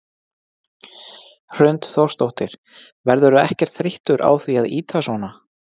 Hrund Þórsdóttir: Verðurðu ekkert þreyttur á því að ýta svona?